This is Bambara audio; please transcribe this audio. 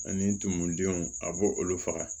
Ani tumudenw a b'o olu faga